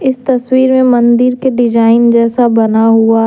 इस तस्वीर में मंदिर के डिजाइन जैसा बना हुआ है।